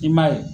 I m'a ye